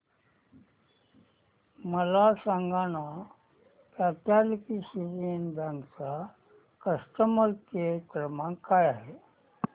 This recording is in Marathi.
मला सांगाना कॅथलिक सीरियन बँक चा कस्टमर केअर क्रमांक काय आहे